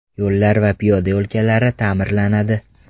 Yo‘llar va piyoda yo‘lkalari ta’mirlanadi.